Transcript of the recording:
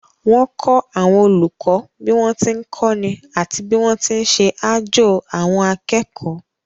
Wọ́n kọ́ àwọn olùkọ́ bí wọ́n ti ń kọ́ni àti bí wọ́n ti ń ṣe àjo àwọn akẹ́kọ̀ọ́